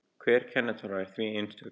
Hver kennitala er því einstök.